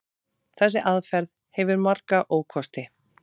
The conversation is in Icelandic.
Þessi aðferð hefur marga ókosti.